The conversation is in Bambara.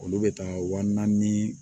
Olu bɛ taa wa naani ni